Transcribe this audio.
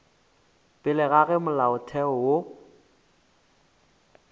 pele ga ge molaotheo wo